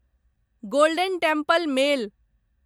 golden Temple mail